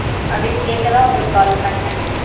அப்படினு கேட்க தான் உங்களுக்கு call பனேன்.